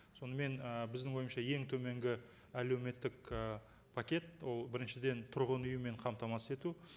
сонымен ы біздің ойымызша ең төменгі әлеуметтік і пакет ол біріншіден тұрғын үймен қамтамасыз ету